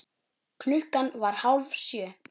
Klukkan var hálf sjö.